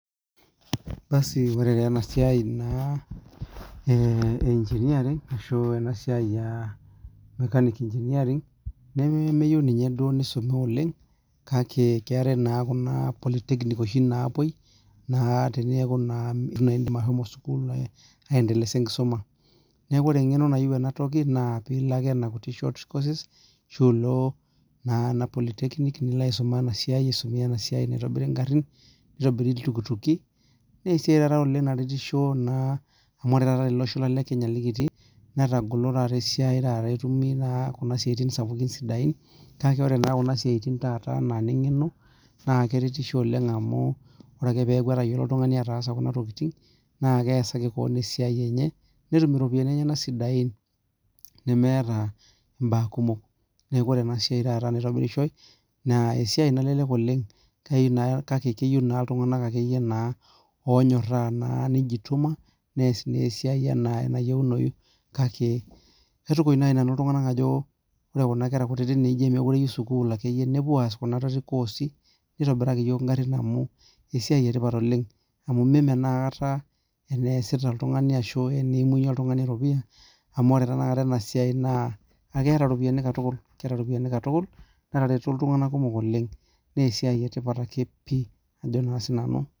Ore naa ena siai naa ee engineering ashu ena siai naa mechanic engineering nemeyiieu ninye duo nisumie oleng Kake keetae naa Kuna polytechnic oshi naapuoi, naa teneku naa eitu naa iidim ashomo sukuul aendelesa enkisuma. neeku ore eng'eno nayieu e a toki naa pee ilo ake nena short courses ashu ilo ena polytechnic nilo aisuma ena siai. nitobiri iltukituki. naa esiai taata oleng, naretisho naa amu ore tele Osho lang le Kenya likitii. netagolo esiai taata etumi. etaa Kuna kuti siatin sidain. kake ore Kuna siatin taata anaa ine ng'eno. naa keretisho oleng, amu, ore ake peeku netayiolo oltungani ataasa Kuna tokitin naa keesaki keon esiai, enye. netum iropiyiani enyenak sidain. nemeeta imbaa kumok. Neeku ore ena siai taata naa esiai naalelek oleng kayieu naa iltunganak onyoraa. nees esiai naa enaa enayieunoyu. kake kitukuj naaji nanu iltunganak ajo ore Kuna kera nemeekure eyieu Kuna sukuul, nepuo aas Kuna koosi. neitobiraki iyiook Ina amu, esiai etipat oleng. mimeneaa aikata eneesita oltungani ashu eneimunyie eropiyia. amu ore tenakata ena siai, naa keeta ropiyiani.